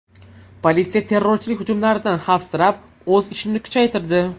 Politsiya terrorchilik hujumlaridan xavfsirab, o‘z ishini kuchaytirdi.